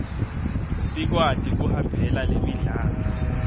sikwati kuhambela lemidlalo